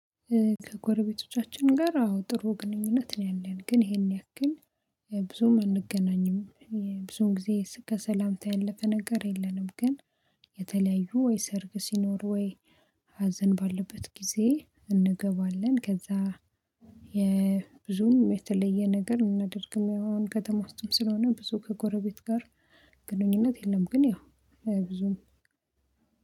ከጎረቤቶቻችን ጋር አዎ ጥሩ ግንኙነት ነው ያለን ግን ይሄን ያክል ብዙም አንገናኝም። ጊዜ ከሰላምታ ያለፈ ነገር የለንም ግን የተለያዩ ወይ ሰርግ ሲኖር ወይ ሀዘን ባለበት ጊዜ እንገባለን ከዛ የብዙም የተለየ ነገር እናደርግም ያው ከተማ ውስጥም ስለሆነ ብዙ ከጎረቤት ጋር ግንኙነት የለም ግን ያው ብዙም